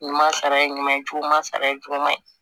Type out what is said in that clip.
Ɲuman sara ye ɲuman sara ye juguman ye